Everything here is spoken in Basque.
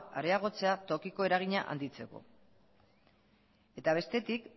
areagotzea tokiko eragina handitzeko eta bestetik